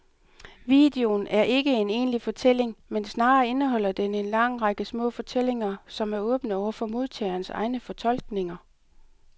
Videoen er ikke en egentlig fortælling, men snarere indeholder den en lang række små fortællinger, som er åbne over for modtagerens egne fortolkninger.